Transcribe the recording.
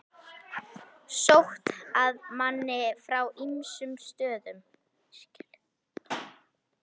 Sótt að manni frá ýmsum stöðum.